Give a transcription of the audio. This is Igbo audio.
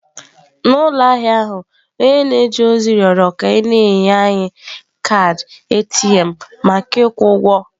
N'ụlọ ahịa ahụ, onye na-eje ozi rịọrọ ka e nye anyị kaadị ATM maka ịkwụ ụgwọ.